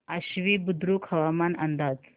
आश्वी बुद्रुक हवामान अंदाज